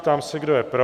Ptám se, kdo je pro?